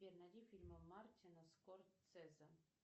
сбер найди фильмы мартина скорсезе